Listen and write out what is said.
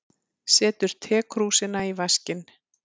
Setur tekrúsina í vaskinn.